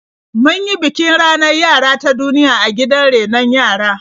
Mun yi bikin ranar yara ta duniya a gidan rainon yara.